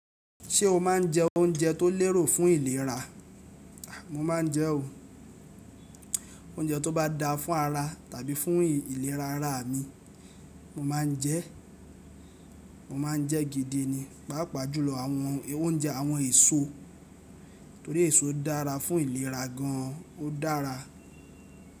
Ṣé o máa ń jẹ oúnjẹ tó lérò fún ìlera? A! Mo máa ń jẹ o. Oúnjẹ tó bá dáa fún ara tàbí fún ìlera ara mi, mo máa ń jẹ́, mo máa ń jẹ́ gidi ni. Páápàá jùlọ àwọn oúnjẹ àwọn èso torí èso dára fún ìlera gan an, ó dára.